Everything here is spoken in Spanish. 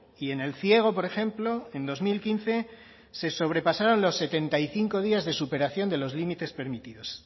y en el ciego por ejemplo en dos mil quince se sobrepasaron los setenta y cinco días de superación de los límites permitidos